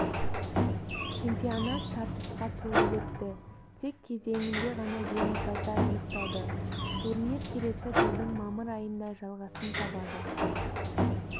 чемпионат тартысқа толы өтті тек кезеңінде ғана жеңімпаздар анықталды турнир келесі жылдың мамыр айында жалғасын табады